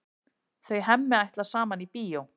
Þau Hemmi ætla saman í bíó.